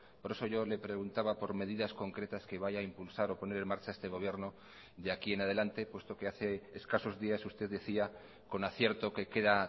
por eso yo le preguntaba por medidas concretas que vaya a impulsar o poner en marcha este gobierno de aquí en adelante puesto que hace escasos días usted decía con acierto que queda